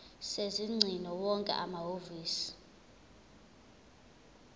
sezingcingo wonke amahhovisi